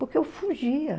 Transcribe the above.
Porque eu fugia.